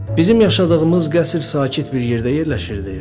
Bizim yaşadığımız qəsr sakit bir yerdə yerləşirdi.